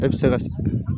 E bɛ se ka